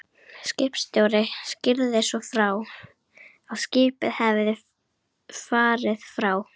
Skipstjóri skýrði svo frá, að skipið hefði farið frá